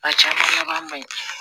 A caman laban man ɲi